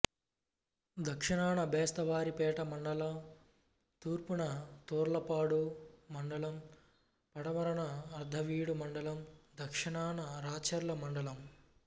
దక్షణాన బెస్తవారిపేట మండలంతూర్పున తర్లుపాడు మండలంపడమరన అర్ధవీడు మండలందక్షణాన రాచర్ల మండలం